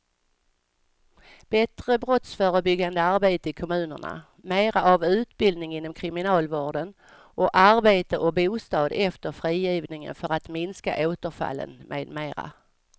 Bättre brottsförebyggande arbete i kommunerna, mera av utbildning inom kriminalvården och arbete och bostad efter frigivningen för att minska återfallen med mera.